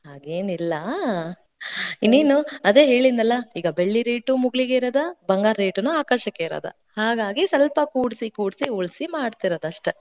ಹಂಗೇನಿಲ್ಲಾ. ನೀನು, ಅದೇ ಹೇಳಿದ್ನಲ್ಲಾ ಈಗ ಬೆಳ್ಳಿ rate ಉ ಮುಗಿಲ್ಗೇರೆದ, ಬಂಗಾರ rate ನೂ ಆಕಾಶಕ್ಕೇರದ, ಹಾಗಾಗಿ, ಸಲ್ಪ ಕೂಡ್ಸಿ, ಕೂಡ್ಸಿ ಉಳ್ಸಿ ಮಾಡ್ಸಿರೋದ್ ಅಷ್ಟ.